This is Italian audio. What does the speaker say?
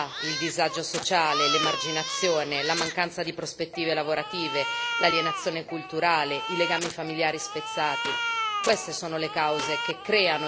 Ne vorrei citare alcune abbiamo la povertà, il disagio sociale, l'emarginazione, la mancanza di prospettive lavorative, l'alienazione culturale, i legami familiari spezzati.